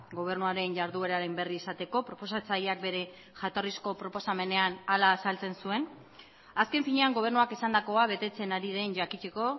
gobernuaren jardueraren berri izateko proposatzaileak bere jatorrizko proposamenean hala azaltzen zuen azken finean gobernuak esandakoa betetzen ari den jakiteko